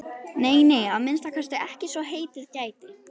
Nei, nei, að minnsta kosti ekki svo heitið gæti.